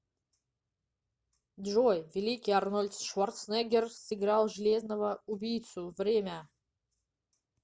джой великий арнольд шварценеггер сыграл железного убийцу время